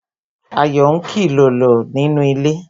Ayo ń kilolo nínú ilé